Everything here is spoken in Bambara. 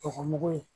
Dɔgɔ mugu ye